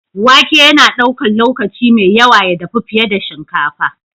Wake yana ɗaukar lokaci mai yawa ya dafu fiye da shinkafa.